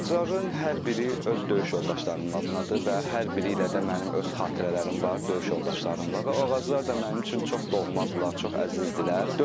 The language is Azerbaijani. Ağacların hər biri öz döyüş yoldaşlarımın adınadır və hər biri ilə də mənim öz xatirələrim var döyüş yoldaşlarımla və o ağaclar da mənim üçün çox doğmadırlar, çox əzizdirlər.